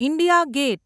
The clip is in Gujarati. India gate